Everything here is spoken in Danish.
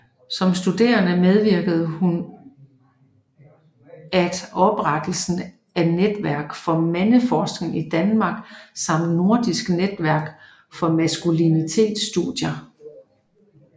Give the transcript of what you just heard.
Som studerende medvirkede hun at oprettelsen af Netværk for Mandeforskning i Danmark samt Nordisk netværk for Maskulinitetsstudier